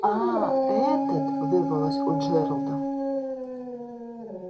а этот вырвалось у джералда